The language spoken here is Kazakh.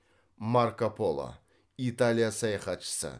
марко поло италия саяхатшысы